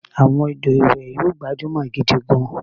Àwọn ọdọ iwe yio gbajumọ gidi gan